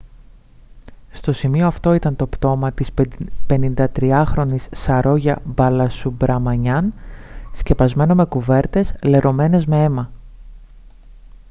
στο σημείο αυτό ήταν το πτώμα της 53χρονης saroja balasubramanian σκεπασμένο με κουβέρτες λερωμένες με αίμα